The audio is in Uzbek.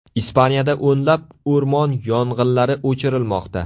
Ispaniyada o‘nlab o‘rmon yong‘inlari o‘chirilmoqda.